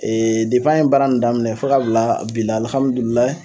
depi an ye baara nin daminɛ fo ka bila bi la